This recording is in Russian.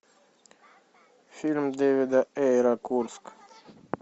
фильм дэвида эйра курск